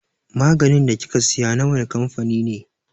Maganin da kika siya na wane kamfani ne?